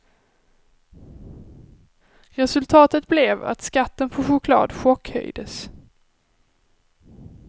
Resultatet blev att skatten på choklad chockhöjdes.